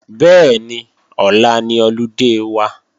Bẹ́ẹ̀ni, ọ̀la ni ọludé wa